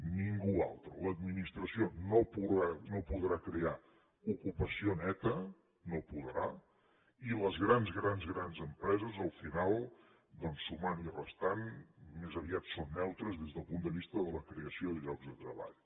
ningú altre l’administració no podrà crear ocupació neta no podrà i les grans grans grans empreses al final doncs sumant i restant més aviat són neutres des del punt de vista de la creació de llocs de treball